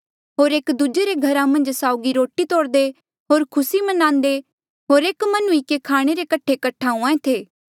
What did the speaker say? होर स्यों हर रोज एक मन हुई किन्हें मन्दरा मन्झ कठे हुंहा ऐें थे होर एक दूजे रे घरा मन्झ साउगी रोटी तोड़दे होर खुसी म्नांदे होर एक मन हुई किन्हें खाणे रे कठे कठा हुएं थे